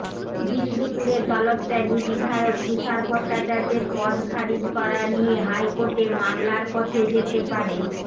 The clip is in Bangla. বিষ্ণুপুরের দলত্যাগী বিধায়ক তুষার ভট্টাচার্যের পদ খারিজ করা নিয়ে হাইকোর্টে মামলার পথে যেতে পারে